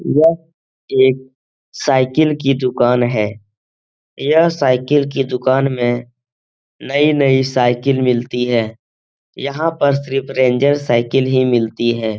यह एक साइकिल की दुकान है। यह साइकिल की दुकान में नई-नई साइकिल मिलती है। यहाँ पर सिर्फ रेंजर साइकिल ही मिलती है।